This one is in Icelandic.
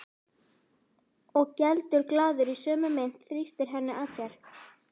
Og geldur glaður í sömu mynt, þrýstir henni að sér.